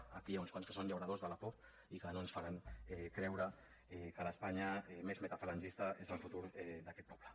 aquí n’hi ha uns quants que són llauradors de la por i que no ens faran creure que l’espanya més metafalangista és el futur d’aquest poble